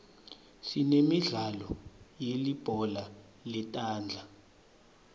sinemidlalo yelibhola letandla